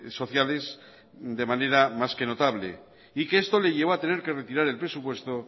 sociales de manera más que notable y que esto le llevó a tener que retirar el presupuesto